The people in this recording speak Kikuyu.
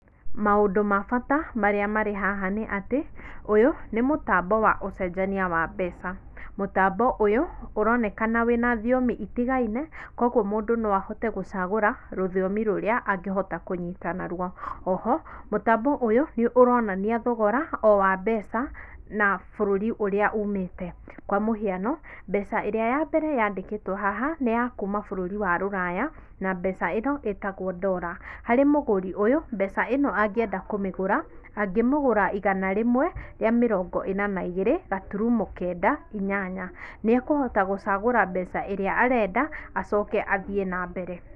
Maũndũ ma bata marĩa marĩ haha nĩ atĩ, ũyũ nĩ mũtambo wa ũcenjania wa mbeca, mũtambo ũyũ ũroneka wĩna thiomi itigaine kwoguo mũndũ no ahote gũchagũra rũthiomi rũrĩa angĩhota kũnyita naruo oho mũtambo ũyũ nĩ ũronania thogora o wa mbeca na bũrũri ũrĩa umĩte kwa mũhiano mbeca ĩrĩa ya mbere ya ndĩkĩtwo haha nĩ ya kuma bũrũri wa rũraya na mbeca ĩno ĩtagwo Dola, harĩ mũgũri ũyũ mbeca ĩno angĩenda kũmĩgũra, angĩmĩgũra igana rĩmwe rĩa mĩrongo ĩnana na ĩgĩrĩ gaturumo kenda inyanya, nĩ ekũhota gũchagũra mbeca ĩrĩa arenda achoke athiĩ na mbere.